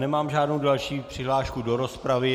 Nemám žádnou další přihlášku do rozpravy.